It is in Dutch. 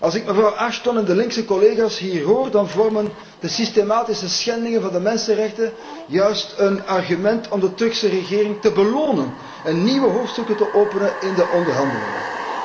Als ik mevrouw Ashton en de linkse collega's hier hoor, dan vormen de systematische schendingen van de mensenrechten juist een argument om de Turkse regering te belonen en nieuwe hoofdstukken te openen in de onderhandelingen.